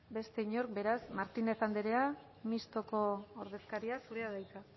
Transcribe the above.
beste inork beraz martínez andrea mistoko ordezkaria zurea da hitza